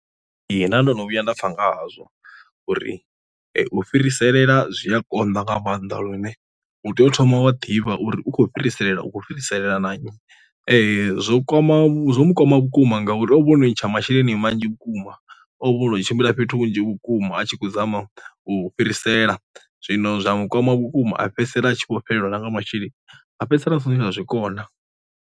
Ee nda ndo no vhuya nda pfa nga hazwo uri u fhiriselela zwi a konḓa nga maanḓa lune u tea u thoma wa ḓivha uri u khou fhiriselwa u khou fhiriselwa na nnyi, zwo kwama zwo kwama vhu vhukuma ngauri ono ntsha masheleni manzhi vhukuma o no tshimbila fhethu hunzhi vhukuma a tshi khou zama u fhirisela, zwino zwa mukhwama vhukuma a fhedzisela a tshi vho fhelelwa nga masheleni a fhedzisela hu songo tsha zwikona.